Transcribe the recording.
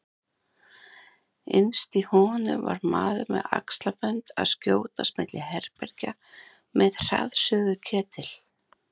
Innst í honum var maður með axlabönd að skjótast milli herbergja með hraðsuðuketil.